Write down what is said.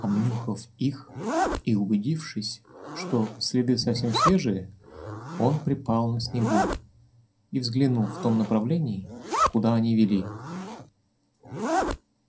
обнюхав их и убедившись что следы совсем свежие он припал на снегу и взглянул в том направлении куда они вели